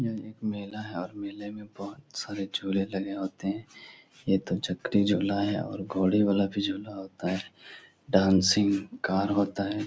यह एक मेला है और मेले में बहोत सारे झूले लगे होते हैं। ये तो चकरी झूला है और घोड़े वाला भी झूला होता है। डांसिंग कार होता है।